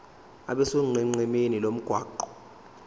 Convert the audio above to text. abe sonqenqemeni lomgwaqo